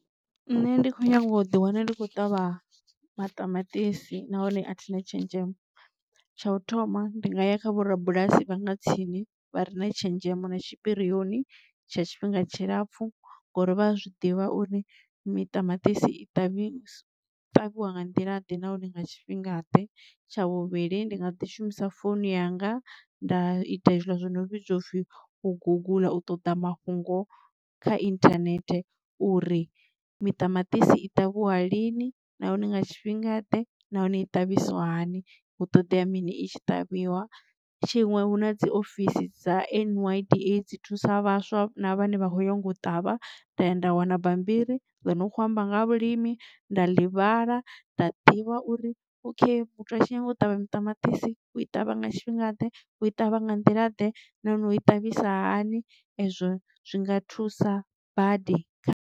Nṋe ndi kho nyaga u ḓi wana ndi khou ṱavha maṱamaṱisi nahone a thina tshenzhemo. Tsha u thoma ndi nga ya kha vhorabulasi vha nga tsini vha re na tshenzhemo na tshipirioni tsha tshifhinga tshilapfu ngori vha a zwi ḓivha uri miṱamaṱisi i ṱavhiwa u ṱavhiwa nga nḓila ḓe nahone nga tshifhinga ḓe. Tsha vhuvhili ndi nga ḓi shumisa founu yanga nda ita hezwila zwo no vhidzwa upfhi u gugula u ṱoḓa mafhungo kha internet uri miṱamaṱisi i ṱavhiwa lini nahone nga tshifhinga ḓe na hone i ṱavhisiwa hani hu ṱoḓea mini i tshi tavhiwa tshiṅwe huna dzi ofisini dza nyda dzi thusa vhaswa na vhane vha kho nyaga u ṱavha nda ya nda wana bambiri ḽi no khou amba nga ha vhulimi nda ḽi vhala nda ḓivha uri okay muthu a tshi nyaga u ṱavha maṱamaṱisi u i ṱavha nga tshifhinga ḓe u ṱavha nga nḓila ḓe na no i ṱavhisa hani ezwo zwi nga thusa badi kha.